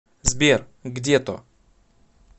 сбер где то